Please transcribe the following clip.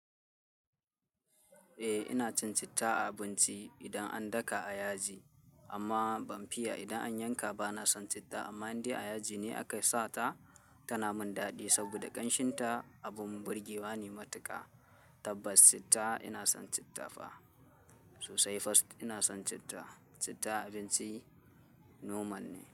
Eh ina cin citta a abinci idan an daka a yaji amma ban fiye idan an yanka bana son citta amma inda a yaji ne aka sa ta tana min daɗi saboda ƙanshinta abin burgewa ne matuka. Tabbas citta ina son citta fa sosai first ina son citta. Citta abinci noman ne.